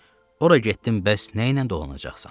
Ora getdim, bəs nəylə dolanacaqsan?